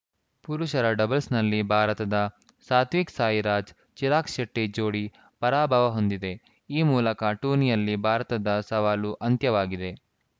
ಪುರುಷರ ಡಬಲ್ಸ್‌ನಲ್ಲಿ ಭಾರತದ ಸಾತ್ವಿಕ್‌ ಸಾಯಿರಾಜ್‌ಚಿರಾಗ್‌ ಶೆಟ್ಟಿಜೋಡಿ ಪರಾಭವ ಹೊಂದಿದೆ ಈ ಮೂಲಕ ಟೂರ್ನಿಯಲ್ಲಿ ಭಾರತದ ಸವಾಲು ಅಂತ್ಯವಾಗಿದೆ